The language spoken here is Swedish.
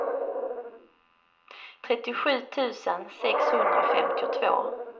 trettiosju tusen sexhundrafemtiotvå